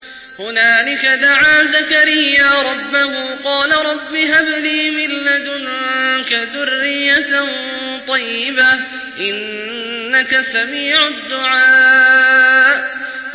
هُنَالِكَ دَعَا زَكَرِيَّا رَبَّهُ ۖ قَالَ رَبِّ هَبْ لِي مِن لَّدُنكَ ذُرِّيَّةً طَيِّبَةً ۖ إِنَّكَ سَمِيعُ الدُّعَاءِ